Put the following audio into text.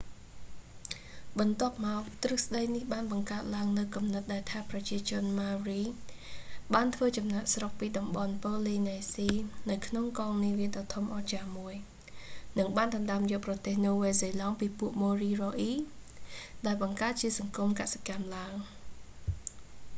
បន្ទាប់​មក ទ្រឹស្តី​នេះបាន​បង្កើត​ឡើង​នូវ​គំនិត​ដែល​ថា​ ប្រជាជន ម៉ៅរី maori បាន​ធ្វើ​ចំណាក​ស្រុក​ពី​តំបន់​ប៉ូលីនេស៊ី ​នៅក្នុងកងនាវាដ៏ធំអស្ចារ្យមួយ​ និងបាន​ដណ្ដើម​យក​ប្រទេសណូវែលសេឡង់​ពីពួកមូរីអូរី​moriori ដោយ​បង្កើត​ជាសង្គម​កសិកម្ម​ឡើង​។